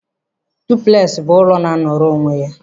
Duplex bụ ụlọ na-anọrọ onwe ya.